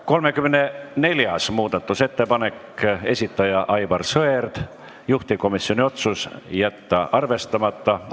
34. muudatusettepaneku esitaja on Aivar Sõerd, juhtivkomisjoni otsus: jätta arvestamata.